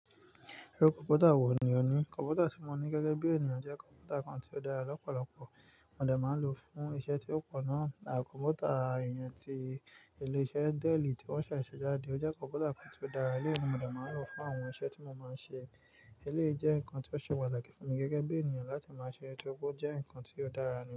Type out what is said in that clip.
Irú kọ̀mpútà wò ní o ní? Kọ̀mpútà tí mo ní gẹ́gẹ́ bí ènìyàn jẹ́ kọ̀mpútà kan tí ó dára lọ́pọ̀lọpọ̀. Mo dà máa ń lò ó fún iṣẹ́ tí ó pọ̀ náà. À kọ̀mpútà ìyẹn tí ilé-iṣẹ́ Dell tí wọ́n ṣẹ̀ ṣọ́jáde, o jẹ́ kọ̀mpútà kan tí ó dára. Éleyi mi mo dà máa ń lò ó fún àwọn iṣẹ́ tí mo máa ń ṣe. Eléyi jẹ́ nǹkan tí ó ṣe patákbt fún mi gẹ́gẹ́ bí ènìyàn láti máa ṣe irun ti ó kú jẹ́ nǹkan tí ó dára nìyẹn.